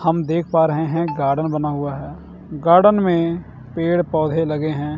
हम देख पा रहे हैं गार्डन बना हुआ है गार्डन में पेड़ पौधे लगे हैं।